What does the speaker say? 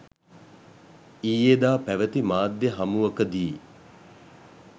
ඊයේදා පැවැති මාධ්‍ය හමුවකදී